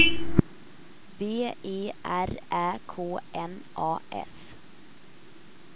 B E R Ä K N A S